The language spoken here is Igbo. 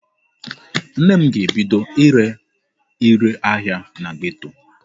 Nne m ga-ebido ire ire ahịa na geto.